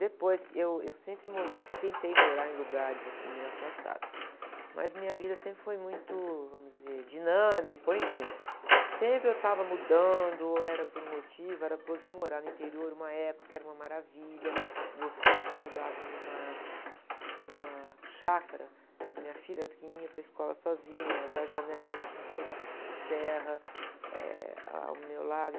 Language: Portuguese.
Depois, que, eu, eu sempre mo, tentei morar em lugares assim, meio afastados, mas minha vida sempre foi muito, vamos dizer, dinâmica, ou enfim, sempre eu estava mudando, ou era por um motivo, fui morar no interior uma época que era uma maravilha, meus filhos estudavam numa, numa chácara, minha filha, era pequenininha, ia para a escola sozinha, da janela eu tinha toda a serra, eh, ao meu lado,